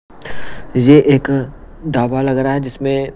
ये एक डाबा लग रहा है जिसमें।